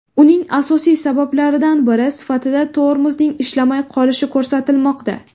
Uning asosiy sabablaridan biri sifatida tormozning ishlamay qolishi ko‘rsatilmoqda.